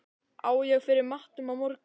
Á ég fyrir matnum á morgun?